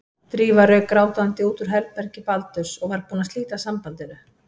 Drífa rauk grátandi út úr herbergi Baldurs og var búin að slíta sambandinu.